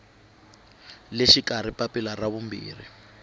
le xikarhi papila ra vumbirhi